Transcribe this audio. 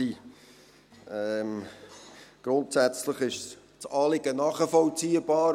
Grundsätzlich ist das Anliegen nachvollziehbar.